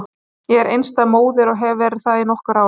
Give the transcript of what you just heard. Ég er einstæð móðir og hef verið það í nokkur ár.